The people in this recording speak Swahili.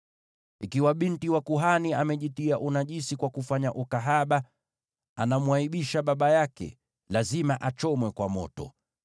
“ ‘Ikiwa binti wa kuhani anajitia unajisi kwa kufanya ukahaba, anamwaibisha baba yake; lazima achomwe kwa moto.